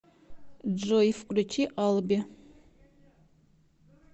джой включи алби